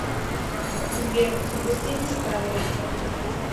сбер запусти дискавери